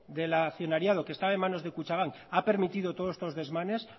del accionariado que estaba en manos de kutxabank ha permitido todos estos desmanes